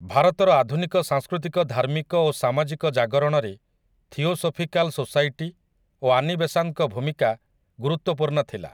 ଭାରତର ଆଧୁନିକ ସାଂସ୍କୃତିକ ଧାର୍ମିକ ଓ ସାମାଜିକ ଜାଗରଣରେ ଥିଓସୋଫିକାଲ୍ ସୋସାଇଟି ଓ ଆନିବେସାନ୍ତଙ୍କ ଭୂମିକା ଗୁରୁତ୍ୱପୂର୍ଣ୍ଣ ଥିଲା ।